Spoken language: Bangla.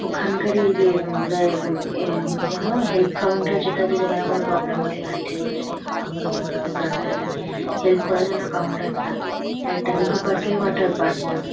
ওখানকারই এই যে দেয় উম আ কি যেন হেল্প কাউন্টার যেটা আছে যেখানে কোন প্রবলেম হলে হারিয়ে টারিয়ে গেলে বা কোনো কিছু জানতে হলে হেল্প করার জন্য কাউন্টার -টা হ্যাঁ এটা নিকো পার্ক -এর ওয়াটার পার্ক -টা।